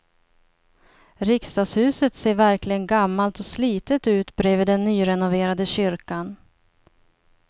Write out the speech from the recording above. Riksdagshuset ser verkligen gammalt och slitet ut bredvid den nyrenoverade kyrkan.